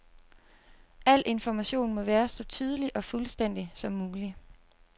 Al information må være så tydelig og fuldstændig som mulig.